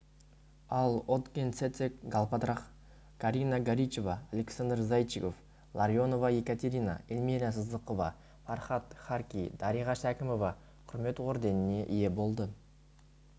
ал отгонцэцэг галбадрах карина горичева александр зайчиков ларионова екатерина эльмира сыздықова фархад харки дариға шәкімова құрмет орденіне ие болды